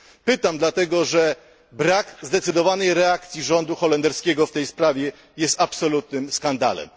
Pytam dlatego, że brak zdecydowanej reakcji rządu holenderskiego w tej sprawie jest absolutnym skandalem.